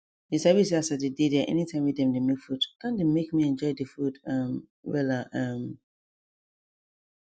you sabi say as i dey dey there anytime wey dem dey make food don dey make me enjoy the food um wella um